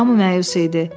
Hamı məyus idi.